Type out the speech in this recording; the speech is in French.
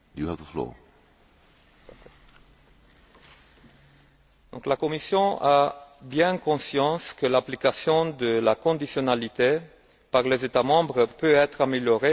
La Commission a bien conscience que l'application de la conditionnalité par les États membres peut être améliorée, comme cela a été souligné par le rapport de la Cour des comptes en